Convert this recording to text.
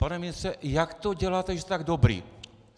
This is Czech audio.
Pane ministře, jak to děláte, že jste tak dobrý?